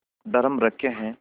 drum रखे हैं